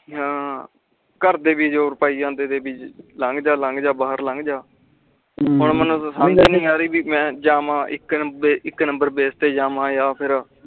ਹਾਂ ਘਰਦੇ ਵਿਜੋਰ ਪਾਈ ਜਾਂਦੇ ਤੇ ਭਰ ਲੱਗ ਜਾ ਭਰ ਲੱਗ ਹੁਣ ਮੇਨੂ ਤਾ ਸਮਝ ਲੱਗਦੀ ਵੀ ਮੈਂ ਜਾਵਾਂ ਇਕ ਨੰਬਰ ਅਬਸੇ ਤੇ ਜਾਵਾਂ ਜਾ ਫੇਰ